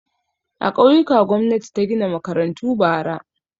A ƙauyuka gwamnati ta gina makarantu bara.